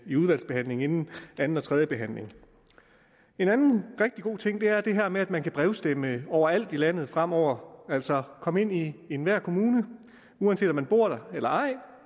i udvalgsbehandlingen inden anden og tredje behandling en anden rigtig god ting er det her med at man kan brevstemme overalt i landet fremover altså komme ind i enhver kommune uanset om man bor der eller ej